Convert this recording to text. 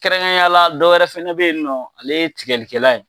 Kɛrɛnkɛrɛnnenyala dɔw wɛrɛ fɛnɛ bɛ yen nɔ ale ye tigɛlikɛlan ye.